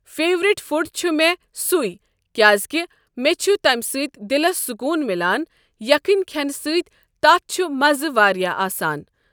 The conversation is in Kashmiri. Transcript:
فیورِٹ فُڈ چھُ مےٚ سُے کیازکہِ مےٚ چھُ تمہِ سۭتۍ دِلس سکوٗن مِلان یَکھٕنۍ کھؠنہٕ سۭتۍ تَتھ چھُ مَزٕ واریاہ آسان۔